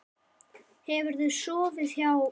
Hefurðu sofið hjá?